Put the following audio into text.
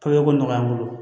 Pepeko nɔgɔy'an bolo